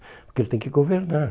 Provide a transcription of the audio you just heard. Porque ele tem que governar.